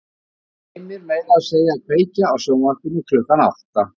Hann gleymir meira að segja að kveikja á sjónvarpinu klukkan átta.